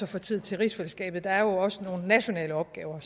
få tid til rigsfællesskabet der er jo også nogle nationale opgaver